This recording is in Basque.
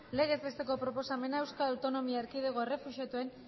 legez besteko proposamena eae errefuxiatuen